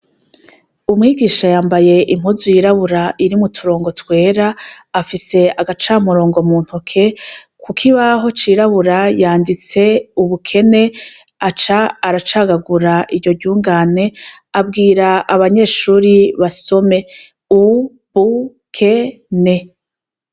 Umwigisha yambaye impuzu yirabura irimwo uturongo twera, afise agacamurongo mu ntoke. Ku kibaho cirabura yanditse "ubukene" aca aracagagura iryo ryungane, abwira abanyeshure basome u-bu-ke-ne.